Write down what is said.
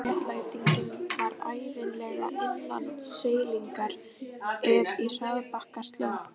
Sjálfsréttlætingin var ævinlega innan seilingar ef í harðbakka sló.